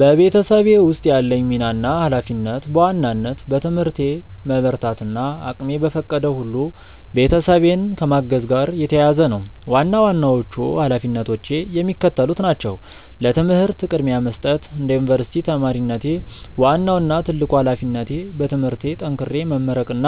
በቤተሰቤ ውስጥ ያለኝ ሚና እና ኃላፊነት በዋናነት በትምህርቴ መበርታት እና እቅሜ በፈቀደው ሁሉ ቤተሰቤን ከማገዝ ጋር የተያያዘ ነው። ዋና ዋናዎቹ ኃላፊነቶቼ የሚከተሉት ናቸው፦ ለትምህርት ቅድሚያ መስጠት፦ እንደ ዩኒቨርሲቲ ተማሪነቴ፣ ዋናው እና ትልቁ ኃላፊነቴ በትምህርቴ ጠንክሬ መመረቅና